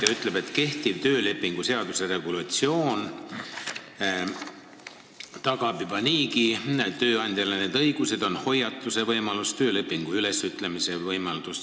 Ta ütleb, et kehtiv töölepingu seaduse regulatsioon tagab juba niigi tööandjale need õigused, on hoiatuse võimalus ja töölepingu ülesütlemise võimalus.